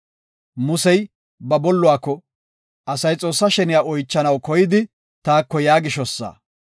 Musey ba bolluwako, “Asay Xoossaa sheniya oychanaw koyidi taako yaa gishosa.